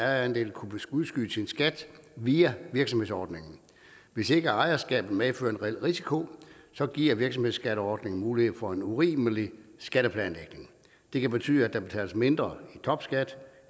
ejerandel kunne udskyde sin skat via virksomhedsordningen hvis ikke ejerskabet medfører en reel risiko giver virksomhedsskatteordningen mulighed for en urimelig skatteplanlægning det kan betyde at der betales mindre i topskat